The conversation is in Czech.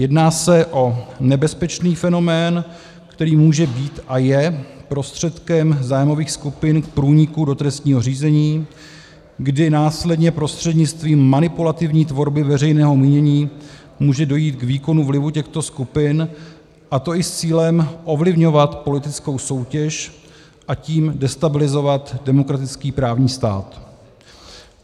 Jedná se o nebezpečný fenomén, který může být a je prostředkem zájmových skupin k průniku do trestního řízení, kdy následně prostřednictvím manipulativní tvorby veřejného mínění může dojít k výkonu vlivu těchto skupin, a to i s cílem ovlivňovat politickou soutěž, a tím destabilizovat demokratický právní stát.